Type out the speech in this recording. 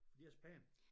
For de er så pæne